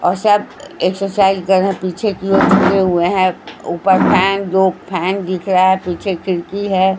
औरसब exercise कर रहे हैं पीछे की ओर हुए हैं ऊपर फैन जो फैन दिख रहा है पीछे खिड़की है।